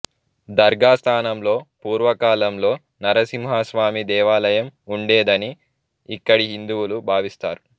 దర్గా స్థానంలో పూర్వ కాలంలో నరసింహ స్వామి దేవాలయం ఉండేదని ఇక్కడి హిందువులు భావిస్తారు